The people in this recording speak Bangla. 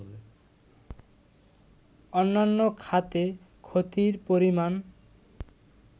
অন্যান্য খাতে ক্ষতির পরিমান